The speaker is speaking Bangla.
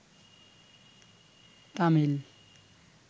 তামিল